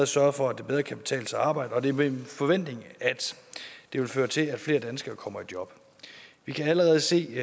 sørget for at det bedre kan betale sig at arbejde og det er min forventning at det vil føre til at flere danskere kommer i job vi kan allerede se